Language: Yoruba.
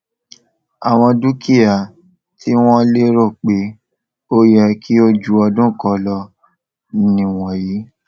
àwọn dúkìá tí wón lérò pé ó yẹ kí o ju ọdún kán lọ nì wọnyí